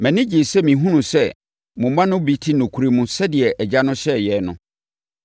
Mʼani gyee sɛ mehunuu sɛ mo mma no bi te nokorɛ mu sɛdeɛ Agya no hyɛɛ yɛn no.